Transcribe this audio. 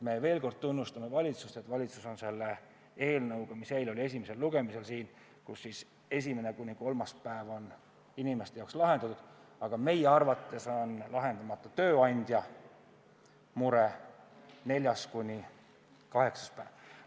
Veel kord: me tunnustame valitsust, et selle eelnõuga, mis eile oli esimesel lugemisel siin, esimene kuni kolmas haiguspäev on inimeste jaoks ära lahendatud, aga meie arvates on lahendamata tööandja mure, neljas kuni kaheksas päev.